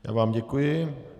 Já vám děkuji.